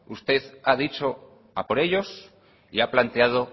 usted ha dicho a por ellos y a planteado